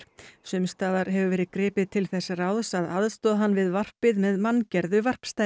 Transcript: sums staðar hefur verið gripið til þess ráðs að aðstoða hann við varpið með manngerðu